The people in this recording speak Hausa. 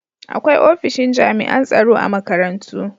Akwai ofishin jami'an tsaro a makarantu.